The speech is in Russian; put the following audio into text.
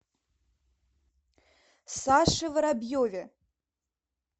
саше воробьеве